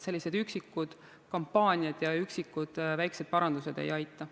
Üksikud kampaaniad ja üksikud väikesed parandused ei aita.